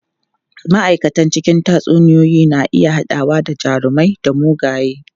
Ma'aikata cikin tatsuniyoyi na iya haɗawa da jarumai da mugaye.